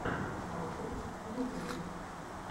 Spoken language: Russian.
вайпер в ютубе